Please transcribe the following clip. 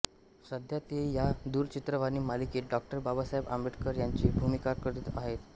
सध्या ते या दूरचित्रवाणी मालिकेत डॉ बाबासाहेब आंबेडकर यांची भूमिका करत आहेत